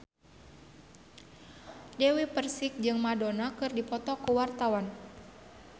Dewi Persik jeung Madonna keur dipoto ku wartawan